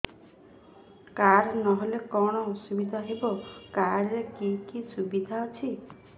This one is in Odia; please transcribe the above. କାର୍ଡ ନହେଲେ କଣ ଅସୁବିଧା ହେବ କାର୍ଡ ରେ କି କି ସୁବିଧା ଅଛି